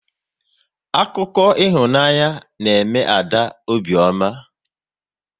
Akụkọ ịhụnanya na eme Ada obiọma